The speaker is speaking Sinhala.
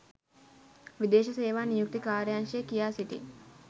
විදේශ සේවා නියුක්ති කාර්යාංශය කියා සිටී